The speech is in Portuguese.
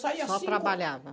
Saía as cinco... Só trabalhava?